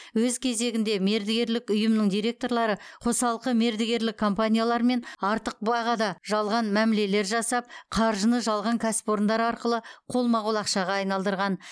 өз кезегінде мердігерлік ұйымның директорлары қосалқы мердігерлік компаниялармен артық бағада жалған мәмілелер жасап қаржыны жалған кәсіпорындар арқылы қолма қол ақшаға айналдырған